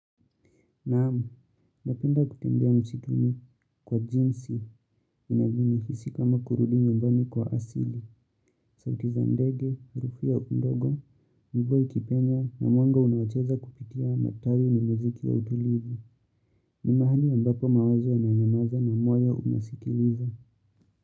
Naam, napenda kutembea msituni kwa jinsi inanihisi kama kurudi nyumbani kwa asili, sauti za ndege, harufu ya udongo, mvua ikipenya na mwanga unaocheza kupitia matawi ni muziki wa utulivu. Ni mahali ambapo mawazo yananyamaza na moyo unasikiliza.